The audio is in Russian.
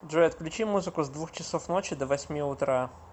джой отключи музыку с двух часов ночи до восьми утра